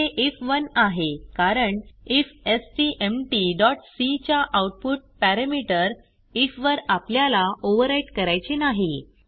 येथे आयएफ1 आहे कारण ifstmtसी च्या आउटपुट पॅरामीटर आयएफ वर आपल्याला ओव्हरव्हराईट करायचे नाही